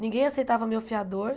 Ninguém aceitava meu fiador.